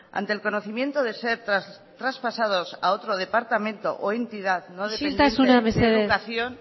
ante el conocimiento de ser traspasados a otros departamento o entidad no dependiente de educación isiltasuna mesedez